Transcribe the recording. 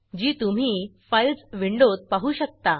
जी तुम्ही files files विंडोत पाहू शकता